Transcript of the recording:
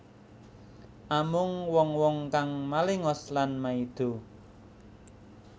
Amung wong wong kang malengos lan maido